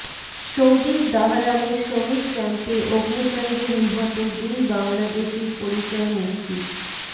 সৌদির দ্বাহরানে শ্রমিক ক্যাম্পে অগ্নিকান্ডে নিহত দুই বাংলাদেশির পরিচয় নিশ্চিত